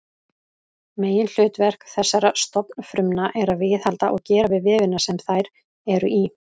Meginhlutverk þessara stofnfrumna er að viðhalda og gera við vefina sem þær eru í.